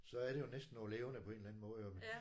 Så er det jo næsten noget levende på en eller anden måde jo